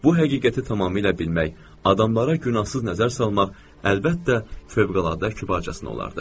Bu həqiqəti tamamilə bilmək, adamlara günahsız nəzər salmaq əlbəttə fövqəladə kübarcasına olardı.